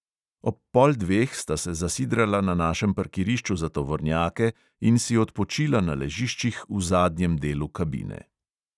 Ob pol dveh sta se zasidrala na našem parkirišču za tovornjake in si odpočila na ležiščih v zadnjem delu kabine.